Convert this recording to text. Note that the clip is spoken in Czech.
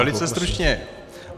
Velice stručně.